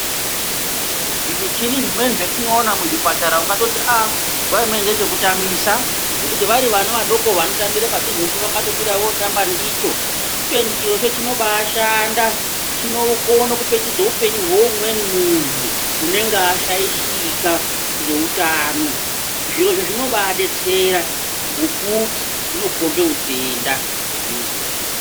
Zvimichini zvimweni zvetinoona muzvipatara ungatoti aaaa nguwa imweni ngezvekutambisa ngekuti vari vana vadoko vanotambire padhuzepo vanotobira votamba ndicho kubeni chirocho chinobaashanda chinokone kupetudze upenyu hweumweni muntu unenge ashaishika ngeutano zvirozvo zvinombadetsera ngokuti zvinokombe utenda hwemuntu.